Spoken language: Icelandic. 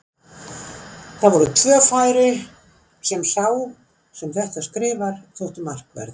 Það voru tvö færi sem sá sem þetta skrifar þóttu markverð.